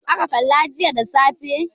Youtube aka kalla jiya da safe.